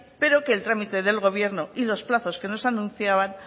pero que el trámite del gobierno y los plazos que nos anunciaban